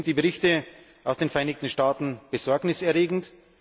Deswegen sind die Berichte aus den Vereinigten Staaten besorgniserregend.